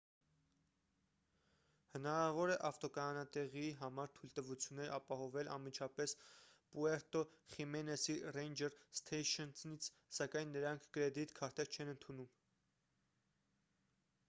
հնարավոր է ավտոկայանատեղիի համար թույլտվություններ ապահովել անմիջապես պուերտո խիմենեսի ռեյնջեր սթեյշընից սակայն նրանք կրեդիտ քարտեր չեն ընդունում